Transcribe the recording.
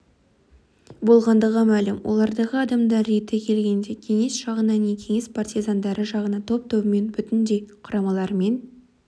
болғандығы мәлім олардағы адамдар реті келгенде кеңес жағына не кеңес партизандары жағына топ-тобымен бүтіндей құрамаларымен